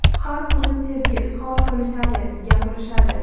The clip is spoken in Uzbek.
Har kuni sevgi izhor qilishadi, gapirishadi.